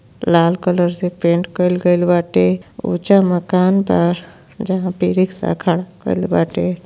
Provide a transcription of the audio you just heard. लाल colour से paint कइल गइल बाटे। ऊंचा मकान बा। जहां पर रिक्शा खड़ा कइल बाटे।